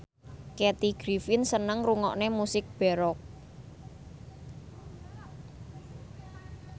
Kathy Griffin seneng ngrungokne musik baroque